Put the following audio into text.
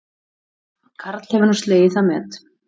Karl hefur nú slegið það met